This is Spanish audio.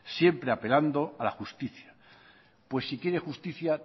siempre apelando a la justicia pues si quiere justicia